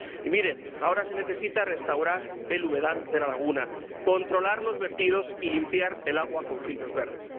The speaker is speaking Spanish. Y, miren, ahora se necesita restaurar el humedal de la laguna, controlar los vertidos y limpiar el agua con filtros verdes.